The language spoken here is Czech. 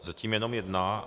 Zatím jenom jedna.